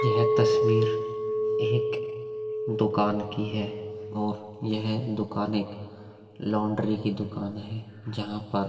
यह तस्वीर एक दुकान की है और यह दुकान एक लॉन्ड्री की दुकान है। जहाँ पर --